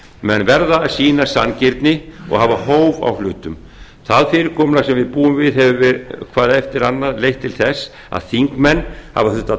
menn verða að sýna sanngirni og hafa hóf á hlutum það fyrirkomulag sem við búum við hefur hvað eftir annað leitt til þess að þingmenn hafa þurft að